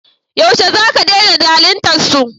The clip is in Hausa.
Yaushe za ka dena zalintar su?